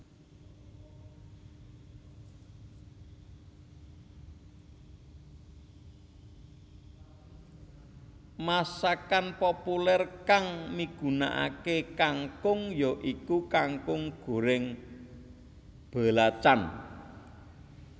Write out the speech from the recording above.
Masakan populèr kang migunakaké kangkung ya iku kangkung gorèng belacan